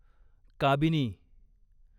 Kabini